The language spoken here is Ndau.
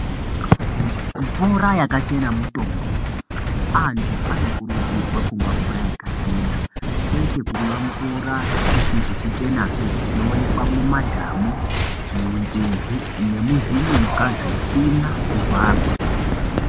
Mvura yakachena mutombo. Antu anokurudzirwa kumwa mvura yakachena kwete kumwa mvura isizi kuchenapi inoonekwa mumadhamu, munzizi nemuzvinyuka zvisina kuvharwa.